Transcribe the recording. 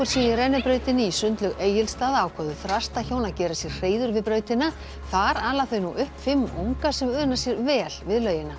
sé í rennibrautinni í sundlaug Egilsstaða ákváðu að gera sér hreiður við brautina þar ala þau nú upp fimm unga sem una sér vel við laugina